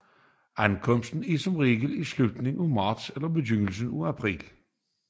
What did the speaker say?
Ankomsten er som regel i slutningen af marts eller begyndelsen af april